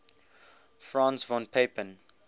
franz von papen